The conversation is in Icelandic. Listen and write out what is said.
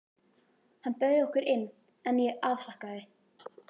Hann bauð okkur inn, en ég afþakkaði.